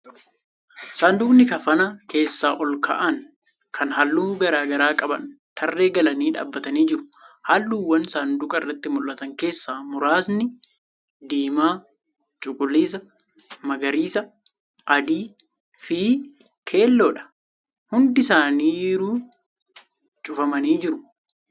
Sanduuqni kafana keessa ol kaa'an kan halluu garagaraa qaban tarree galanii dhaabbatanii jiru. Halluuwwan sanduuqa irratti mul'atan keessaa muraasni diimaa, cuquliisa, magariisa, adii fi keelloo dha. Hundi isaaniruu cufamanii jiru .